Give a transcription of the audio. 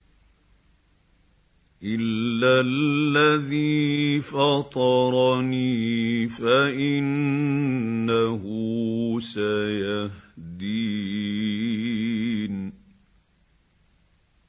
إِلَّا الَّذِي فَطَرَنِي فَإِنَّهُ سَيَهْدِينِ